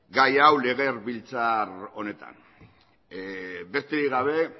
gai hau legebiltzar honetan besterik gabe